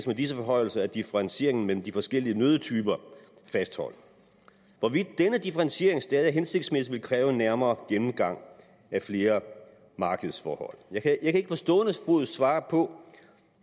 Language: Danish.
med disse forhøjelser er differentieringen mellem de forskellige nøddetyper fastholdt hvorvidt denne differentiering stadig er hensigtsmæssig vil kræve en nærmere gennemgang af flere markedsforhold jeg kan ikke på stående fod svare på